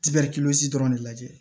Tiga dɔrɔn de lajɛ